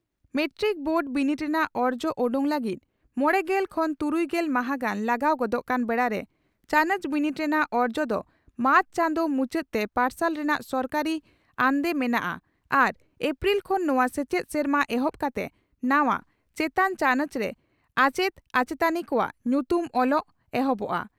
Matric board ᱵᱤᱱᱤᱰ ᱨᱮᱱᱟᱜ ᱚᱨᱡᱚ ᱚᱰᱚᱠ ᱞᱟᱹᱜᱤᱫ ᱢᱚᱲᱮᱜᱮᱞ ᱠᱷᱚᱱ ᱛᱩᱨᱩᱭᱜᱮᱞ ᱢᱟᱦᱟᱸ ᱜᱟᱱ ᱞᱟᱜᱟᱣ ᱜᱚᱫᱚᱜ ᱠᱟᱱ ᱵᱮᱲᱟᱨᱮ ᱪᱟᱱᱚᱪ ᱵᱤᱱᱤᱰ ᱨᱮᱱᱟᱜ ᱚᱨᱡᱚ ᱫᱚ ᱢᱟᱨᱪ ᱪᱟᱸᱫᱚ ᱢᱩᱪᱟᱹᱫ ᱛᱮ ᱯᱟᱨᱥᱟᱞ ᱨᱮᱱᱟᱜ ᱥᱚᱨᱠᱟᱨᱤ ᱟᱱᱫᱮ ᱢᱮᱱᱟᱜᱼᱟ ᱟᱨ ᱮᱯᱨᱤᱞ ᱠᱷᱚᱱ ᱱᱚᱣᱟ ᱥᱮᱪᱮᱫ ᱥᱮᱨᱢᱟ ᱮᱦᱚᱵ ᱠᱟᱛᱮ ᱱᱟᱣᱟ/ ᱪᱮᱛᱟᱱ ᱪᱟᱱᱚᱪ ᱨᱮ ᱟᱪᱮᱛ ᱟᱪᱮᱛᱟᱹᱱᱤ ᱠᱚᱣᱟᱜ ᱧᱩᱛᱩᱢ ᱚᱞᱚᱜ ᱮᱦᱚᱵᱚᱜᱼᱟ ᱾